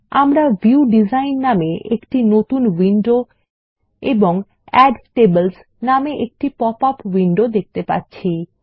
আমরা view design নামে একটি নতুন উইন্ডো এবং এড টেবলস নামে একটি পপআপ উইন্ডো দেখতে পাচ্ছি